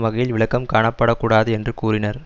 வகையில் விளக்கம் காணப்படக்கூடாது என்று கூறினர்